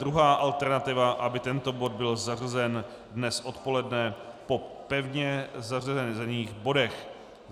Druhá alternativa - aby tento bod byl zařazen dnes odpoledne po pevně zařazených bodech.